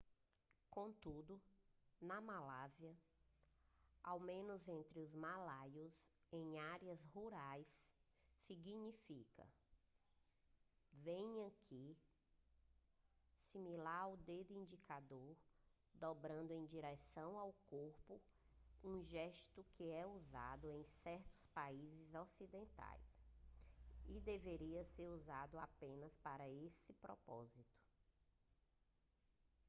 contudo na malásia ao menos entre os malaios em áreas rurais significa venha aqui similar ao dedo indicador dobrado em direção ao corpo um gesto que é usado em certos países ocidentais e deveria ser usado apenas para esse propósito